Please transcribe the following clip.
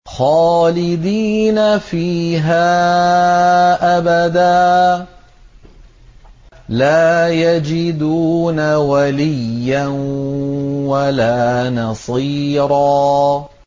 خَالِدِينَ فِيهَا أَبَدًا ۖ لَّا يَجِدُونَ وَلِيًّا وَلَا نَصِيرًا